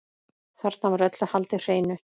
Þarna var öllu haldið hreinu.